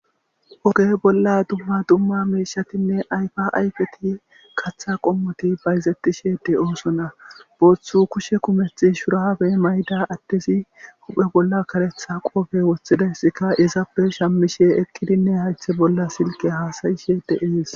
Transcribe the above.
Oge bolla dumma dumma miishatinne ayfa ayfeti kaththa qommoti bayzettishede oosona booththu kushe kumethi shurabe mayda attezi huphe bolla karetha qoofe woththidayssika izappe shammishe eqqidinne haythe bolla silqe haasayishe deees.